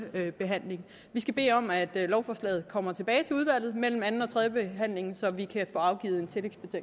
behandling vi skal bede om at lovforslaget kommer tilbage til udvalget mellem anden og tredje behandling så vi kan få afgivet